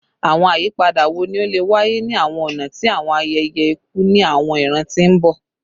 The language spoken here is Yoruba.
Awọn ayipada wo ni o le waye ni awọn ọna ti awọn ayẹyẹ iku ni awọn iran ti n bọ?